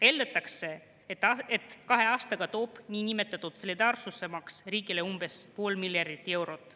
Eeldatakse, et kahe aastaga toob niinimetatud solidaarsusmaks riigile umbes pool miljardit eurot.